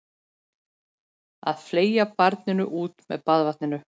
Að fleygja barninu út með baðvatninu